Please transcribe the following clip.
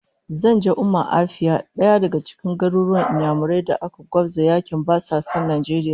Zan je Umma Afia, daya daga cikin garuruwan Inyamurai da aka gwabza yakin basasan Najeriya